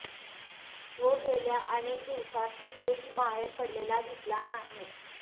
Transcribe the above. तो गेल्या अनेक दिवसांत कुठेही बाहेर पडलेला दिसला नाही